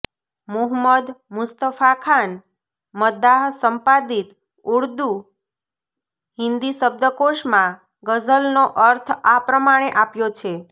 મુહમ્મદ મુસ્તફાખાન મદ્દાહ સંપાદિત ઉર્દૂ હિન્દી શબ્દકોશમાં ગઝલનો અર્થ આ પ્રમાણે આપ્યો છે